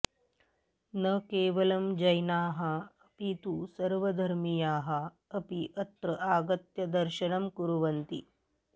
न केवलं जैनाः अपि तु सर्वधर्मीयाः अपि अत्र आगत्य दर्शनं कुर्वन्ति